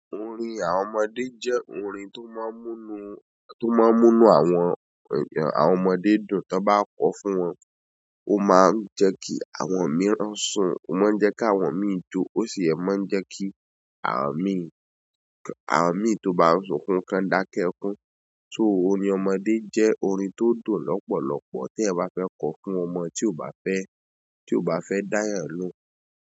Orin àwọn ọmọdé jẹ́ orin tó máa ń mú inú, tó máa ń mú inú àwọn èèyàn, àwọn ọmọdé dùn tó bá kọ fún wọn. Ó máa ń jẹ́ kí àwọn mìíràn sùn, ó máa ń jẹ́ kí àwọn mìíràn jó, ó sì máa ń jẹ́ kí àwọn míì, àwọn míì tó bá ń sunkún kan dákẹ́ ekun. So orin ọmọdé jẹ́ orin tó dùn lọ́pọ̀lọpọ̀ tí ẹyan bá fẹ́ kọ fún ọmọ tí o bá fẹ́, tí o bá fẹ́ dáyàń loun.